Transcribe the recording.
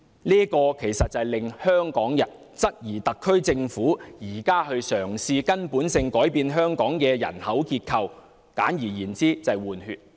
這實在令香港人質疑，特區政府現正嘗試根本地改變香港的人口結構，簡而言之，就是"換血"。